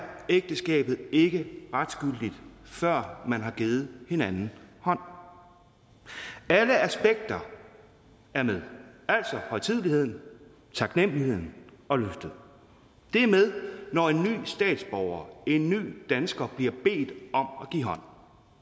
ægteskabet ikke retsgyldigt før man har givet hinanden hånd hånd alle aspekter er med altså højtideligheden taknemmeligheden og løftet det er med når en ny statsborger en ny dansker bliver bedt om at give hånd